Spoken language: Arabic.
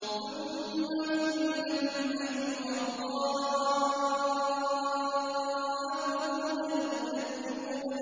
ثُمَّ إِنَّكُمْ أَيُّهَا الضَّالُّونَ الْمُكَذِّبُونَ